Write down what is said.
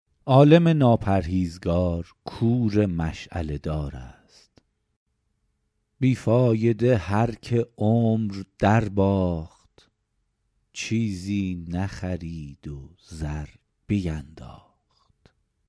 عالم ناپرهیزگار کور مشعله دار است بی فایده هر که عمر در باخت چیزی نخرید و زر بینداخت